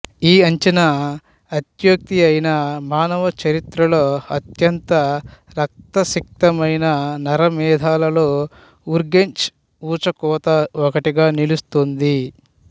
ఈ అంచనా అత్యుక్తి అయినా మానవ చరిత్రలో అత్యంత రక్తసిక్తమైన నరమేధాల్లో ఉర్గెంచ్ ఊచకోత ఒకటిగా నిలస్తోంది